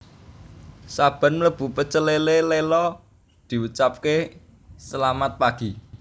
Saben mlebu Pecel Lele Lela diucapke selamat pagi